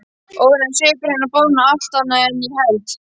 Óráðinn svipur hennar boðar allt annað en ég held.